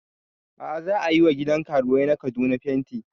A'a za ayi wa gidan karuwai na Kaduna fenti